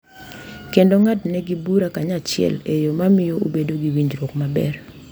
Kendo ng’adnegi bura kanyachiel e yo ma miyo ubedo gi winjruok maber.